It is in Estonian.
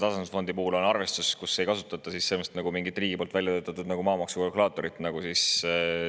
Tasandusfondi puhul on arvestus, kus ei kasutata mingit riigi välja töötatud kalkulaatorit nagu maamaksu puhul.